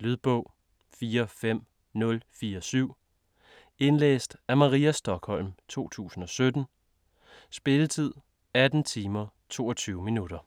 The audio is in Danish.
Lydbog 45047 Indlæst af Maria Stokholm, 2017. Spilletid: 18 timer, 22 minutter.